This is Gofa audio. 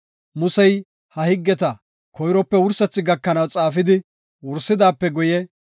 Musey ha higgeta koyrope wursethi gakanaw xaafidi wursidaape guye,